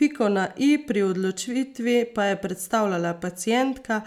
Piko na i pri odločitvi pa je predstavljala pacientka,